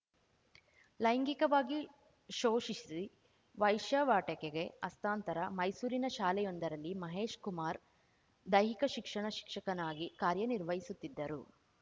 ಲೈಂಗಿಕವಾಗಿ ಶೋಷಿಸಿ ವೈಶ್ಯಾವಾಟಿಕೆಗೆ ಹಸ್ತಾಂತರ ಮೈಸೂರಿನ ಶಾಲೆಯೊಂದರಲ್ಲಿ ಮಹೇಶ್‌ ಕುಮಾರ್‌ ದೈಹಿಕ ಶಿಕ್ಷಣ ಶಿಕ್ಷಕನಾಗಿ ಕಾರ್ಯ ನಿರ್ವಹಿಸುತ್ತಿದ್ದರು